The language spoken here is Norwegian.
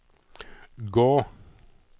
gå